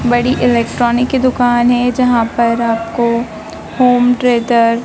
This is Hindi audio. बड़ी इलेक्ट्रॉनिक की दुकान है जहां पर आपको होम थिएटर --